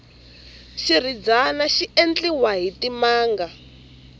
xirhidzani xi endziwa hi timanga